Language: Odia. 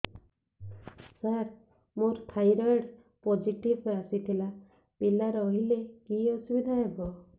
ସାର ମୋର ଥାଇରଏଡ଼ ପୋଜିଟିଭ ଆସିଥିଲା ପିଲା ରହିଲେ କି ଅସୁବିଧା ହେବ